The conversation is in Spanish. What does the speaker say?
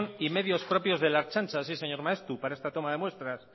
y medios propios de la ertzaintza sí señor maeztu para esta toma de muestras